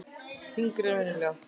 Þyngri en venjulega.